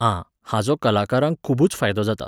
आं, हाचो कलाकारांक खुबूच फायदो जाता.